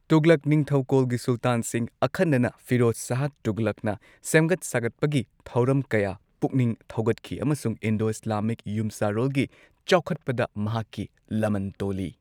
ꯇꯨꯘꯂꯛ ꯅꯤꯡꯊꯧꯀꯣꯜꯒꯤ ꯁꯨꯜꯇꯥꯟꯁꯤꯡ, ꯑꯈꯟꯅꯅ ꯐꯤꯔꯣꯖ ꯁꯥꯍ ꯇꯨꯘꯂꯛꯅ ꯁꯦꯝꯒꯠ ꯁꯥꯒꯠꯄꯒꯤ ꯊꯧꯔꯝ ꯀꯌꯥ ꯄꯨꯛꯅꯤꯡ ꯊꯧꯒꯠꯈꯤ ꯑꯃꯁꯨꯡ ꯏꯟꯗꯣ ꯏꯁꯂꯥꯃꯤꯛ ꯌꯨꯝꯁꯥꯔꯣꯜꯒꯤ ꯆꯥꯎꯈꯠꯄꯗ ꯃꯍꯥꯛꯀꯤ ꯂꯃꯟ ꯇꯣꯜꯂꯤ꯫